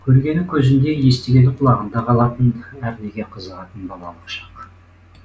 көргені көзінде естігені құлағында қалатын әрнеге қызығатын балалық шақ